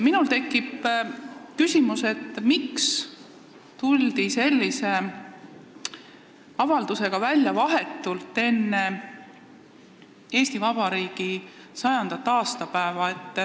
Minul on tekkinud küsimus, miks tuldi sellise avaldusega välja vahetult enne Eesti Vabariigi 100. aastapäeva.